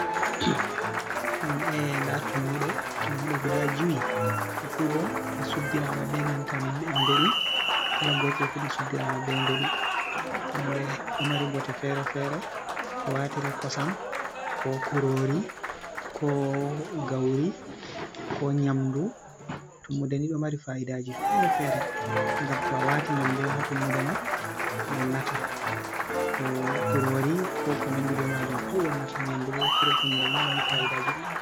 Hmm ee ndaa tummuɗe, tummuɗe "gudaa" jowi, ɗe fuu bo ɗe suddirama bee nanta mbeɗu, "kala" gootel fu bo suddiraama bee mbeɗu. Tummuɗe ɗo mari bote feere-feere, ɗo wartiree kosam koo kuroori koo gawri koo nyaamdu. Tummude ni ɗo mari faaidaaji feere-feere ngam to a waati nyaamdu on ha tummude maa wonnataa. To kuroori koo konanndi bee majum pat wonnataa nyaamdu ɗo furo tummude ni ɗo mari faa’idaaji ɗuɗɗi.